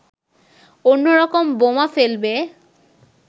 অন্য রকম বোমা ফেলবে